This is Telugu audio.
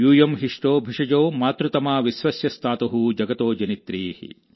యూయం హిష్ఠా భిషజో మాతృతమా విశ్వస్య స్థాతు జగతో జనిత్రీ ||